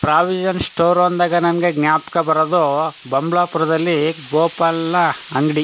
Provision store ಅಂದಾಗ ನಮ್ಗೆ ಜ್ಞಾಪಕ್ ಬರೋದು ಬಂಬ್ಲ ಪುರದಲ್ಲಿ ಗೋಪಾಲಾ ಅಂಗಡಿ.